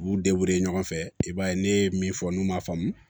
U b'u ɲɔgɔn fɛ i b'a ye ne ye min fɔ n'u m'a faamu